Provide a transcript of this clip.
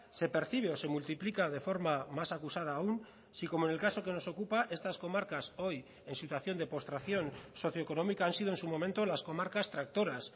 se percibe o se multiplica de forma más acusada aún si como en el caso que nos ocupa estas comarcas hoy en situación de postración socioeconómica han sido en su momento las comarcas tractoras